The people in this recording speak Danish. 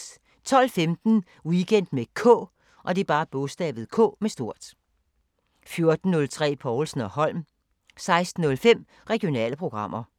12:15: Weekend med K 14:03: Povlsen & Holm 16:05: Regionale programmer